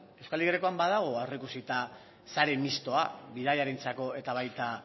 euskal y grekoan badago aurreikusita sare mistoa bidaiarientzako eta baita